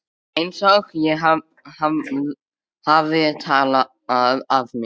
Einsog ég hafi talað af mér.